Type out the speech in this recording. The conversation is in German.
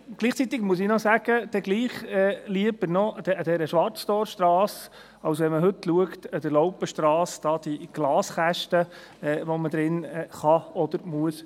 Gleichzeitig muss ich sagen: Dann doch noch lieber an der Schwarztorstrasse, als wie heute an der Laupenstrasse mit diesen Glaskästen, in denen man heiraten kann oder muss.